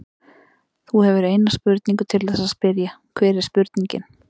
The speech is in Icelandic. Þú hefur eina spurningu til þess að spyrja, hver er spurningin?